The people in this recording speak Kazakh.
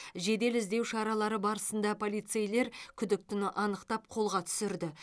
жедел іздеу шаралары барысында полицейлер күдіктіні анықтап қолға түсірді